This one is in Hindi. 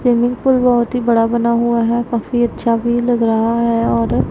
स्विमिंग पूल बहोत ही बड़ा बना हुआ है काफी अच्छा व्यू लग रहा है और--